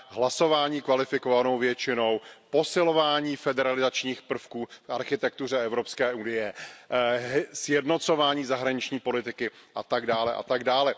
hlasování kvalifikovanou většinou, posilování federalizačních prvků v architektuře EU, sjednocování zahraniční politiky atd.